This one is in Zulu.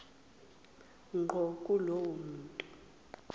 ngqo kulowo muntu